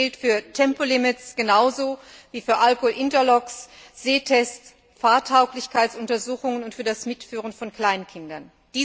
Das gilt für Tempolimits genauso wie für Alkohol Interlocks, Sehtests, Fahrtauglichkeitsuntersuchungen und für das Mitführen von Kleinkindern.